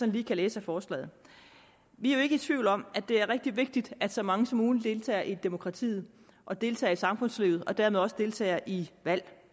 lige kan læse af forslaget vi er jo ikke i tvivl om at det er rigtig vigtigt at så mange som muligt deltager i demokratiet og deltager i samfundslivet og dermed også deltager i valg